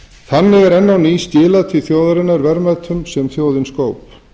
þannig er enn á ný skilað til þjóðarinnar verðmætum sem þjóðin skóp